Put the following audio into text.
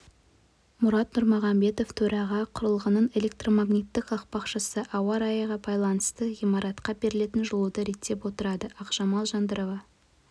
мұрат нұрмағамбетов төрағасы құрылғының электромагнитті қақпақшасы ауа райына байланысты ғимаратқа берілетін жылуды реттеп отырады ақжамал жандырова